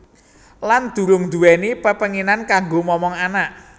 Lan durung anduweni pepenginan kanggo momong anak